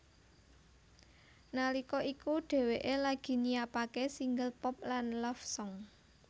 Nalika iku dheweké lagi nyiapaké single pop lan love song